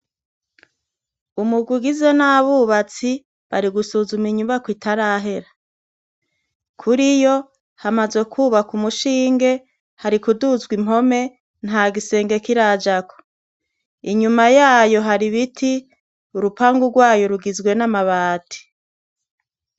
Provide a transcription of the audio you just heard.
Umugwi ugizwe n'abubatsi bari gusuzuma inyubako itarahera kuriyo hamaze kubakwa umushinge hari kuduzwa impome, nta gisenge kirajako. Inyuma yayo hari ibiti urupangu rwayo rugizwe n'amabati.